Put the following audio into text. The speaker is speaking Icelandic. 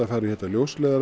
fara í þetta